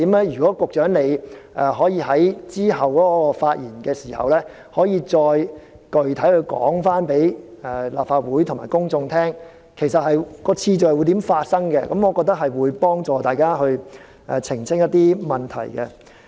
如果局長能夠在之後的發言中就這3個時間點再具體向立法會和公眾解釋，說明次序上如何安排，我認為可以幫助大家澄清疑問。